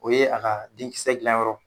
O ye a ka den kisɛ dilanyɔrɔ